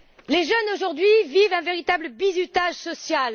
Les jeunes, aujourd'hui, vivent un véritable bizutage social.